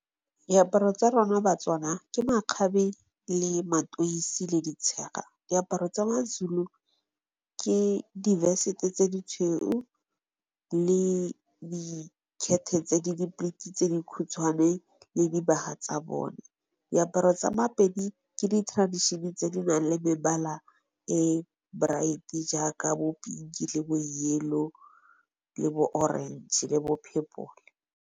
Diaparo tsa rona Batswana ke makgabe le matoisi le di tshega. Diaparo tsa Mazulu ke di vesete tse di tshweu le di tshweu le di di khethe tse di khutshwane le dibaga tsa bone. Diaparo tsa Mapedi ke di traditiona tse di nang le mebala e bright-e jaaka bo pinki, le bo yellow, le bo orange, le bo phepole.